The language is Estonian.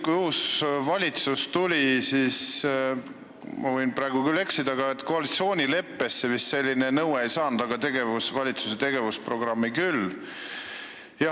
Ma võin küll eksida, aga uue valitsuse koalitsioonileppesse selline nõue vist kirja ei saanud, aga valitsuse tegevusprogrammi sai küll.